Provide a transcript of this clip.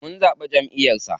Mun zaɓi jamʼiyar sa.